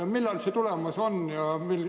Millal see tulemas on?